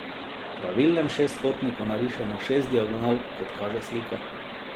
V pravilnem šestkotniku narišemo šest diagonal, kot kaže slika.